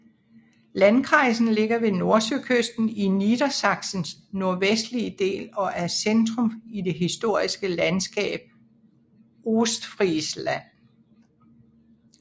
Landkreisen ligger ved Nordsøkysten i Niedersachsens nordvestlige del og er centrum i det historiske landskab Ostfriesland